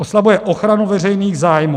Oslabuje ochranu veřejných zájmů.